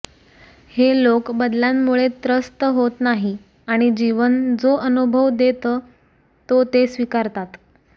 हे लोक बदलांमुळे त्रस्त होत नाही आणि जीवन जो अनुभव देतं तो ते स्विकारतात